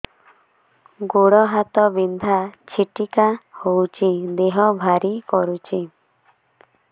ଗୁଡ଼ ହାତ ବିନ୍ଧା ଛିଟିକା ହଉଚି ଦେହ ଭାରି କରୁଚି